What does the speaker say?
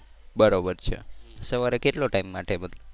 બરોબર છે. સવારે કેટલો ટાઇમ માટે?